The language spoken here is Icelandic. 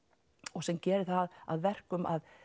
og sem gerir það að verkum að